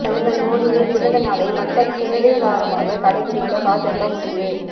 பிரதமர் மோடியின் பிறந்த நாளை மக்கள் சேவை வாரமாக கடைபிடிக்க பாஜக முடிவு